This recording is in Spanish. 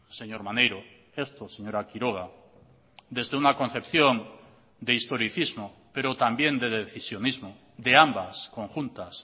señor maneiro esto señora quiroga desde una concepción de historicismo pero también de decisionismo de ambas conjuntas